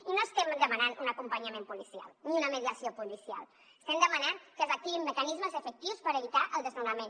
i no estem demanant un acompanyament policial ni una mediació policial estem demanant que s’activin mecanismes efectius per evitar el desnonament